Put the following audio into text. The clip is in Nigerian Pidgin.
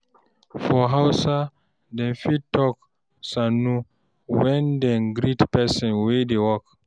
For Hausa, dem fit talk "Sannu" when dem greet person wey dey work.